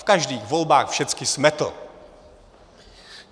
V každých volbách všechny smetl.